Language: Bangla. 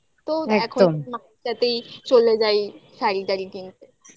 এখন মায়ের সাথেই চলে যাই শাড়ি টাড়ি কিনতে